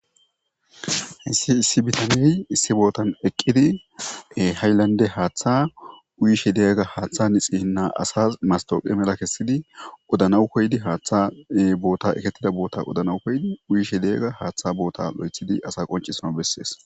Issi issi bitanidi issi bootan eqqidi hayllande haaththa uyishe deyaga haaththa nixi hinna asas mastooqe mela kessidi odanawu koydi haaththa boota ekettida boota odanau koydi uyishe deyaga haaththa boota lo'ethidi asa qoncisono bessees.